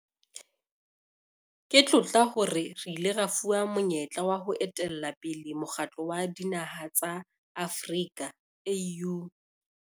Ke tlotla hore re ile ra fuwa monyetla wa ho etella pele Mokgatlo wa Dinaha tsa Afrika, AU.